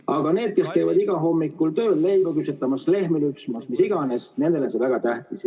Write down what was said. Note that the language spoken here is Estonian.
Aga nendele, kes käivad igal hommikul tööl leiba küpsetamas, lehmi lüpsmas, mis iganes, on see väga tähtis.